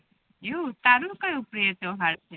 એવુ તારુ કયુ પ્રિય તહેવાર છે